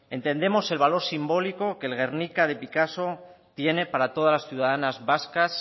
entendemos el valor simbólico que el guernica de picasso tiene para todas las ciudadanas vascas